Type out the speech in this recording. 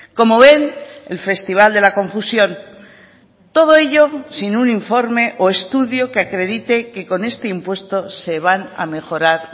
como ven el festival de la confusión todo ello sin un informe o estudio que acredite que con este impuesto se van a mejorar